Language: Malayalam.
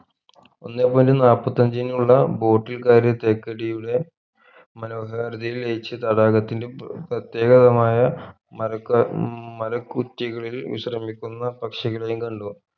ഒന്നേ point നാല്പത്തി അഞ്ചിനുള്ള boat ൽ കയറി തേക്കടിയുടെ മനോഹാരിതയിൽ ലയിച്ച് തടാകത്തിൽ പ്രത്യേകതമായ മര ക ഉം മരകുറ്റികൾ വിശ്രമിക്കുന്ന പക്ഷികളെയും കണ്ടു